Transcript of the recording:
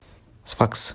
сфакс